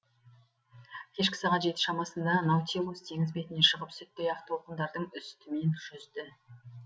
кешкі сағат жеті шамасында наутилус теңіз бетіне шығып сүттей ақ толқындардың үстімен жүзді